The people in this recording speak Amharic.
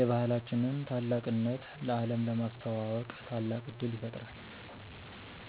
የባህላችንን ታላቅነት ለአለም ለማስተዋወቅ ታላቅ እድል ይፈጥራል።